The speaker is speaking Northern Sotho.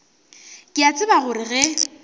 ke a tseba gore ge